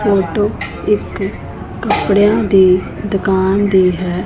Photo ਇੱਕ ਕਪੜਿਆਂ ਦੀ ਦੁਕਾਨ ਦੀ ਹੈ।